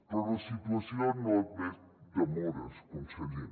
però la situació no admet demores conseller